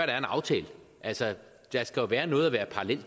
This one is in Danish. er en aftale altså der skal være noget at være parallel